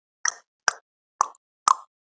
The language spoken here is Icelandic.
Hertha, hvað er í dagatalinu í dag?